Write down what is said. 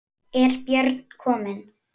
Er Björn kominn?